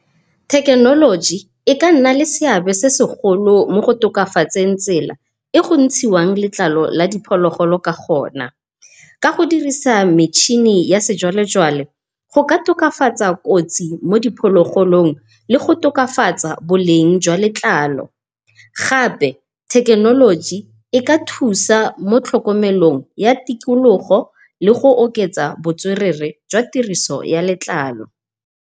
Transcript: Thekenoloji e ka nna le seabe se segolo mo go tokafatseng tsela e go ntshiwang letlalo la diphologolo ka gona. Ka go dirisa metšhine ya sejwalejwale go ka tokafatsa kotsi mo diphologolong le go tokafatsa boleng jwa letlalo. Gape thekenoloji e ka thusa mo tlhokomelong ya tikologo, le go oketsa botswerere jwa tiriso ya letlalo.